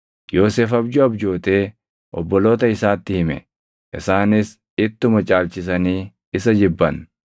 Yoosef abjuu abjootee obboloota isaatti hime; isaanis ittuma caalchisanii isa jibban.